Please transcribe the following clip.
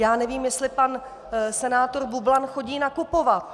Já nevím, jestli pan senátor Bublan chodí nakupovat.